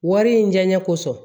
Wari in diɲɛ kosɔn